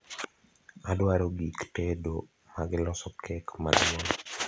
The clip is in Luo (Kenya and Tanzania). adwaro gik tedo mage loso kek maduong